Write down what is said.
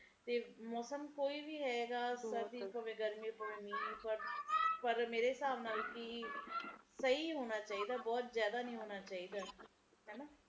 ਜਿਹੜੇ ਪਹਾੜੀ ਇਲਾਕੇ ਐ ਇਹ ਜੀਓ ਇਲਾਕੇ ਜਿਥੇ ਨਦੀਆਂ ਐ ਬਾੜ ਜਿਥੇ ਆਂਦੀ ਐ ਓਹਨਾ ਲੋਕਾਂ ਦੇ ਲਏ ਜ਼ਿੰਦਗੀ ਕਿੰਨੇ ਔਖੀ ਐ ਉਸ ਸਮੇ ਕਿੰਨਾ ਔਖਾ ਹੋ ਜਾਂਦਾ